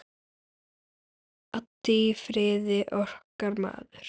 Addi í Firði, okkar maður.